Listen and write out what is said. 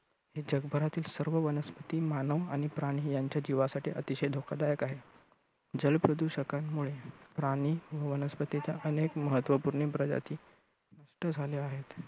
जगभरातील सर्व वनस्पती, मानव आणि प्राणी यांच्या जीवासाठी अतिशय धोकादायक आहे. जल प्रदूषकांमुळे प्राणी व वनस्पतींच्या अनेक महत्त्वपूर्ण प्रजाती नष्ट झाल्या आहेत.